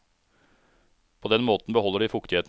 På den måten beholder de fuktigheten.